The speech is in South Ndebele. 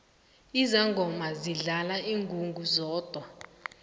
izangoma zidlala ingungu zodwa